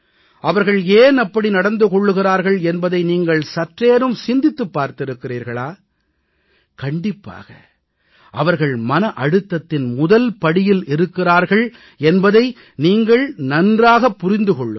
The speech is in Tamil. அவர்கள் ஏன் அப்படி நடந்து கொள்கிறார்கள் என்பதை நீங்கள் சற்றேனும் சிந்தித்துப் பார்த்திருக்கிறீர்களா கண்டிப்பாக அவர்கள் மன அழுத்தத்தின் முதல் படியில் இருக்கிறார்கள் என்பதை நீங்கள் நன்றாகப் புரிந்து கொள்ளுங்கள்